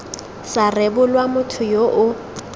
sa rebolwa motho yo o